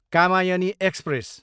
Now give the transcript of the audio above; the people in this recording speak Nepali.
कामायनी एक्सप्रेस